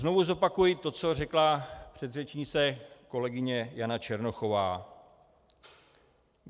Znovu zopakuji to, co řekla předřečnice kolegyně Jana Černochová.